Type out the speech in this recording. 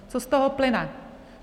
Co z toho plyne?